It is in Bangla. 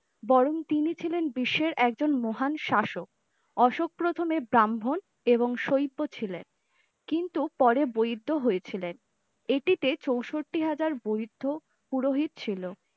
বরণ তিনি ছিলেন বিশ্বের একজন মহান শাসক, অশোক প্রথমে ব্রাহ্মণ এবং শৈব্য ছিলেন কিন্তু পরে বৈদ্য হয়েছিলেন এটিতে চৌষট্টি হাজার বৌধো পুরোহিত ছিল।